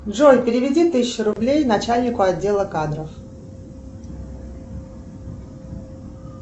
джой переведи тысячу рублей начальнику отдела кадров